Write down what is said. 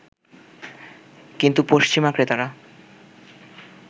কিন্তু পশ্চিমা ক্রেতারা